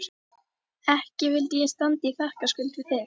Ekki vildi ég standa í þakkarskuld við þig